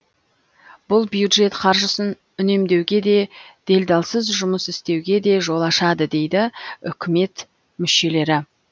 бұл бюджет қаржысын үнемдеуге де делдалсыз жұмыс істеуге де жол ашады дейді үкімет мүшелері